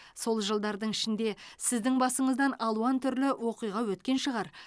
сол жылдардың ішінде сіздің басыңыздан алуан түрлі оқиға өткен шығар